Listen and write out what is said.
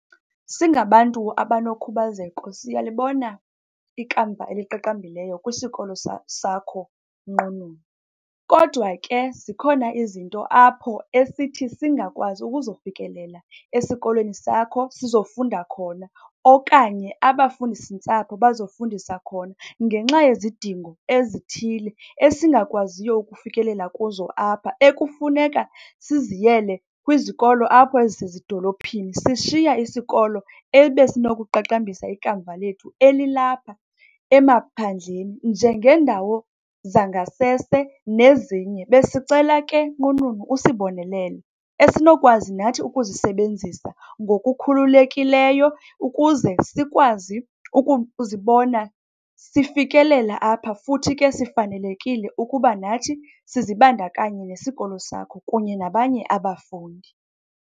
Singabantu abanokhubazeko siyalibona ikamva eliqaqambileyo kwisikolo sakho nqununu. Kodwa ke zikhona izinto apho esithi singakwazi ukuzofikelela esikolweni sakho sizofunda khona okanye abafundisi-ntsapho bazofundisa khona ngenxa yezidingo ezithile esingakwaziyo ukufikelela kuzo apha ekufuneka siziyele kwizikolo apho ezisezidolophini, sishiya isikolo ebesinokuqaqambisa ikamva lethu elilapha emaphandleni njengendawo zangasese nezinye. Besicela ke nqununu usibonelele esinokwazi nathi ukuzisebenzisa ngokukhululekileyo ukuze sikwazi ukuzibona sifikelela apha, futhi ke sifanelekile ukuba nathi sizibandakanye nesikolo sakho kunye nabanye abafundi.